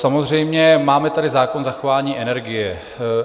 Samozřejmě máme tady zákon zachování energie.